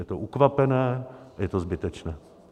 Je to ukvapené, je to zbytečné.